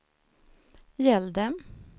gällde